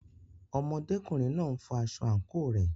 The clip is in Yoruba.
Ọmọdékùnrin náà n fọ aṣọ àǹkóò rẹ̀.